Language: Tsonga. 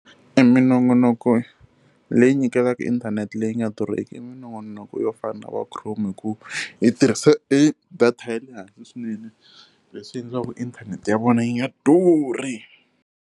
E minongonoko leyi nyikelaka inthanete leyi nga durheki minongonoko yo fana na va Chrome hikuva yi tirhise e data ya le hansi swinene, leswi endlaku inthanete ya vona yi nga durhi.